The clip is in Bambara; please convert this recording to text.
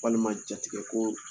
Walima jatigɛ ko